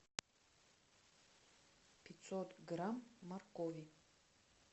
пятьсот грамм моркови